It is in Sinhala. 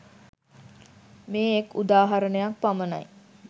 මේ එක් උදාහරණයක් පමණයි